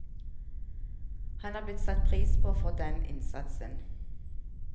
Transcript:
Han er blitt satt pris på for den innsatsen.